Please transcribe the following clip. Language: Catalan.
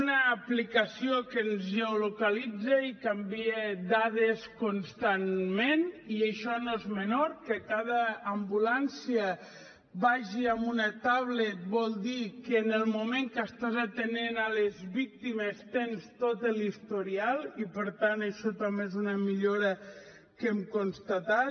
una aplicació que ens geolocalitza i que envia dades constantment i això no és menor que cada ambulància vagi amb una tauleta vol dir que en el moment que estàs atenent les víctimes tens tot l’historial i per tant això també és una millora que hem constatat